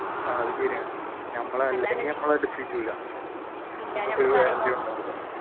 ആഹ് അത് ശരിയാണ്